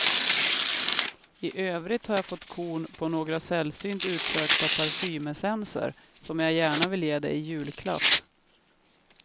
I övrigt har jag fått korn på några sällsynt utsökta parfymessenser som jag gärna ville ge dig i julklapp.